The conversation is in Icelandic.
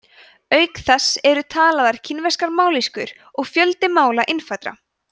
auk þess eru talaðar kínverskar mállýskur og fjöldi mála innfæddra